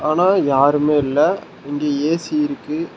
ஆனா யாருமே இல்ல இங்க ஏ_சி இருக்கு.